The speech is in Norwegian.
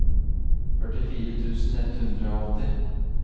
førtifire tusen ett hundre og åtti